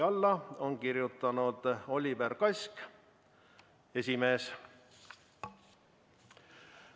Alla on kirjutanud Oliver Kask, Vabariigi Valimiskomisjoni esimees.